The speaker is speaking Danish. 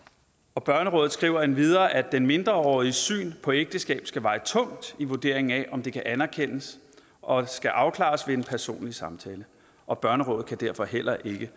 og børnerådet skriver endvidere at den mindreåriges syn på ægteskabet skal veje tungt i vurderingen af om det kan anerkendes og skal afklares ved en personlig samtale og børnerådet kan derfor heller ikke